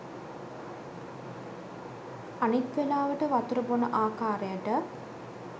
අනිත් වෙලාවට වතුර බොන ආකාරයට